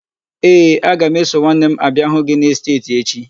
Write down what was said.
Ee, aga m eso nwanne m abịa hụ gị n'esteeti echi.